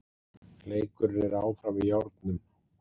Leikurinn er áfram í járnum